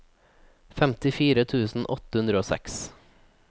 femtifire tusen åtte hundre og seks